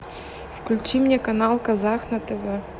включи мне канал казах на тв